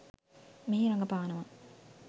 මෙහි රඟපානවා